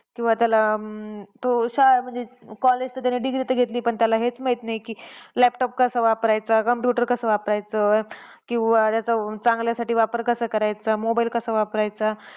किंवा त्याला अं तो शाळा म्हणजे college तर degree तर घेतली. पण त्याला हेच माहित नाही, laptop कसा वापरायचा? Computer कसा वापरायचं? किंवा त्याचा चांगल्यासाठी वापर कसा करायचा? mobile कसा वापरायचा?